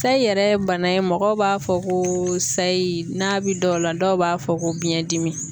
Sayi yɛrɛ ye bana ye mɔgɔw b'a fɔ kooo sayi, n'a bi dɔw la dɔw b'a fɔ ko biɲɛdimi.